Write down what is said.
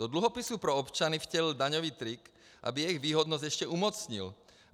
Do dluhopisů pro občany vtělil daňový trik, aby jejich výhodnost ještě umocnil.